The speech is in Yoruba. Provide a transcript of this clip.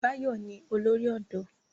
Báyọ̀ ni olórí ọ̀dọ́